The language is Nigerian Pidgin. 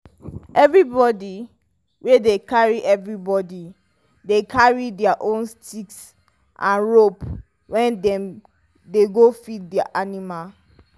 everybody dey carry everybody dey carry their own stick and rope when dem dey go feed their animal